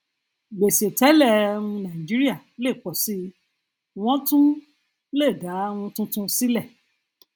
gbèsè tẹlẹ um nàìjíríà lè pọ síi wọn tún um le dá um tuntun sílẹ